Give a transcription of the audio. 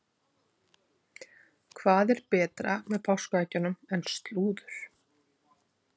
Hvað er betra með páskaeggjunum en slúður?